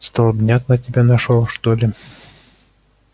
столбняк на тебя нашёл что ли